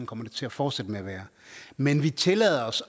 kommer det til at fortsætte med at være men vi tillader os